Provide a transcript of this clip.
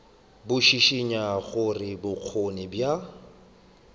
bo šišinya gore bokgoni bja